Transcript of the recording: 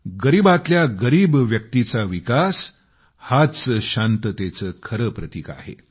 गरीबातल्या गरिब व्यक्तीचा विकास हाच शांततेचे खरे प्रतिक आहे